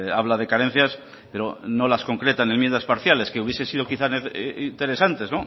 habla de carencias pero no las concreta en enmiendas parciales que hubiese sido quizá interesantes